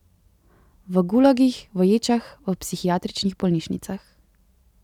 V gulagih, v ječah, v psihiatričnih bolnišnicah.